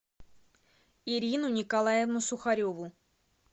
ирину николаевну сухареву